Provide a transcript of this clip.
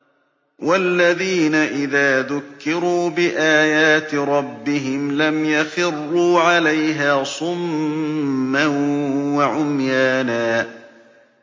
وَالَّذِينَ إِذَا ذُكِّرُوا بِآيَاتِ رَبِّهِمْ لَمْ يَخِرُّوا عَلَيْهَا صُمًّا وَعُمْيَانًا